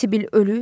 Sibil ölüb?